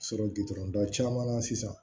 Sɔrɔ gitɔrɔnda caman na sisan